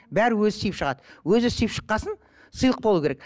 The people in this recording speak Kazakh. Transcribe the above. бәрі өзі сүйіп шығады өзі сүйіп шыққан соң сыйлық болуы керек